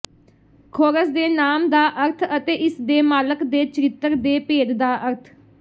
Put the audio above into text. ਖੋਰਸ ਦੇ ਨਾਮ ਦਾ ਅਰਥ ਅਤੇ ਇਸਦੇ ਮਾਲਕ ਦੇ ਚਰਿੱਤਰ ਦੇ ਭੇਦ ਦਾ ਅਰਥ